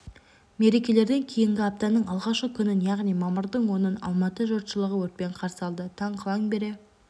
мерекелерден кейінгі аптаның алғашқы күнін яғни мамырдың онын алматы жұртшылығы өртпен қарсы алды таң қыла ңбере